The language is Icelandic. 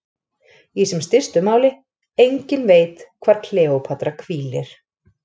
Í sem stystu máli: enginn veit hvar Kleópatra hvílir.